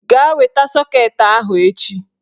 Gaa weta sọket ahụ echi!